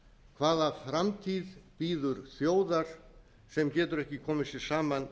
hvaða framtíð bíður þjóðar sem getur ekki komið sér saman